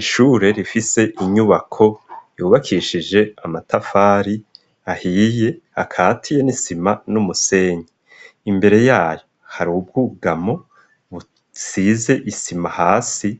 Ishure rifise inyubako yubakishije amatafari ahiye akahatiye n'isima numusenyi imbere yayo hari bwugamo size isima hasi